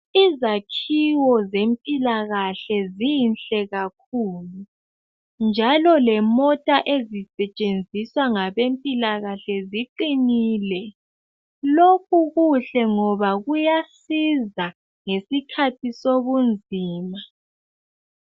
Izakhiwo zempilalakahle Zinhle kakhulu, njalo lemota esisentshenziswa ngabezempilakahle ziqinile kakhulu. Lokhu kuhle ngoba kuyasiza ngesikhathi sobunzima.